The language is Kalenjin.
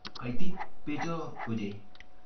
Kaitit becho ochei.